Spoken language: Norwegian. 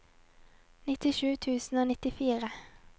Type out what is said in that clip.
nittisju tusen og nittifire